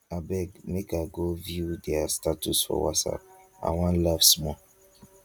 abeg make i go view their status for whatsapp i wan laugh small.